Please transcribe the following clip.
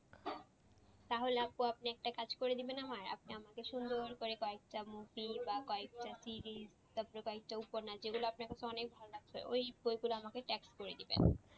তাহলে আপু এক্ষুনি একটা কাজ করে দেবেন আমার আপনি আমাকে সুন্দর করে কয়েকটা movie বা কয়েকটা series তারপর কয়েকটা উপন্যাস এগুলো আপনাকে অনেকটা অনেক ভালো লাগছে। ওই বইগুলো আমাকে tag করে দেবেন।